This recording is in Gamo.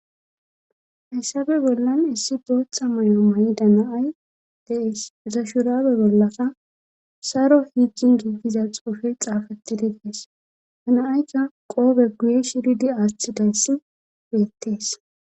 Hayssabe bollan issi bootha mayo may'i danaay dees zashurabe bollaka saro hiigin giiggiza xuufe xaafattidi dees danaaykka qoobe guye shiridi aaththi dayssi geyettees